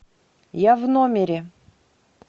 я в номере